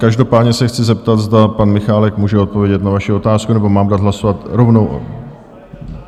Každopádně se chci zeptat, zda pan Michálek může odpovědět na vaši otázku, nebo mám dát hlasovat rovnou?